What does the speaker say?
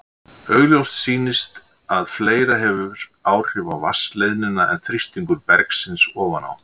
Augljóst sýnist að fleira hefur áhrif á vatnsleiðnina en þrýstingur bergsins ofan á.